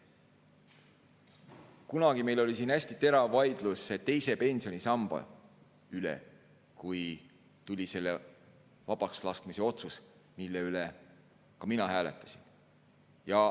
Kunagi oli meil siin hästi terav vaidlus teise pensionisamba üle, kui tuli selle vabakslaskmise otsus, mille üle ka mina hääletasin.